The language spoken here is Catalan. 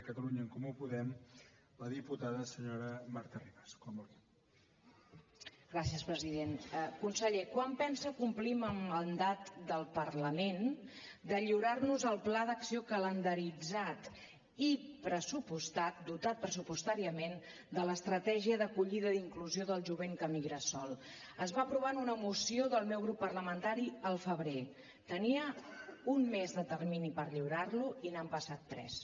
conseller quan pensa complir amb el mandat del parlament de lliurar nos el pla d’acció calendaritzat i pressupostat dotat pressupostàriament de l’estratègia d’acollida i d’inclusió del jovent que emigra sol es va aprovar en una moció del meu grup parlamentari al febrer tenia un mes de termini per lliurar lo i n’han passat tres